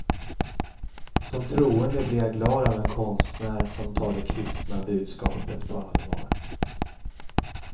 Som troende blir jag glad av en konstnär som tar det kristna budskapet på allvar.